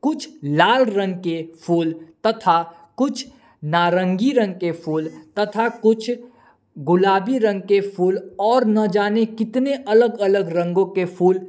कुछ लाल रंग के फूल तथा कुछ नारंगी रंग के फूल तथा कुछ गुलाबी रंग के फूल और न जाने कितने अलग अलग रंगों के फूल--